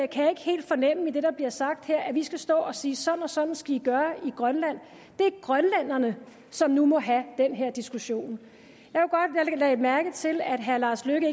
kan jeg ikke helt fornemme i det der bliver sagt her altså at vi skal stå og sige sådan og sådan skal i gøre i grønland det er grønlænderne som nu må have den her diskussion jeg lagde mærke til at herre lars løkke